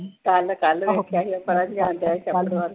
ਕੱਲ-ਕੱਲ ਵੇਖਿਆ ਸੀ।